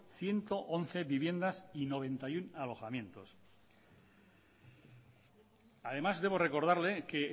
ciento once viviendas y noventa y uno alojamientos además debo recordarle que